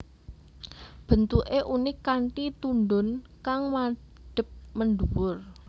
Bentuké unik kanthi tundhun kang madhep mendhuwur